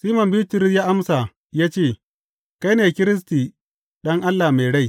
Siman Bitrus ya amsa ya ce, Kai ne Kiristi, Ɗan Allah mai rai.